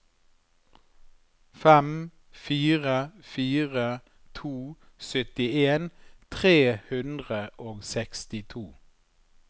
fem fire fire to syttien tre hundre og sekstito